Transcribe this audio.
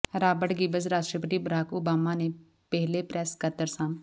Robert Gibbs ਰਾਸ਼ਟਰਪਤੀ Barack Obama ਦੇ ਪਹਿਲੇ ਪ੍ਰੈੱਸ ਸਕੱਤਰ ਸਨ